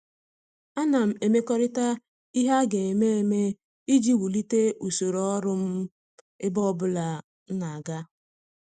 Ana m emekọrịta ihe a ga-eme eme iji wulite usoro ọrụ m ebe ọbụla m na-aga.